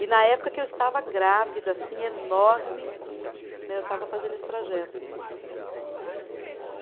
E na época que eu estava grávida, assim, enorme né, eu estava fazendo esse trajeto.